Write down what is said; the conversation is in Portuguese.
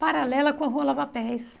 Paralela com a Rua Lavapés.